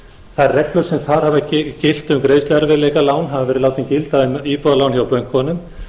þær reglur sem þar hafa gilt um greiðsluerfiðleikalán hafa verið látnar gilda um íbúðalán hjá bönkunum